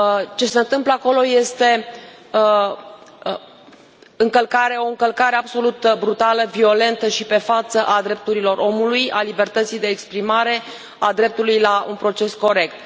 Ce se întâmplă acolo este o încălcare absolut brutală, violentă și pe față a drepturilor omului, a libertății de exprimare, a dreptului la un proces corect.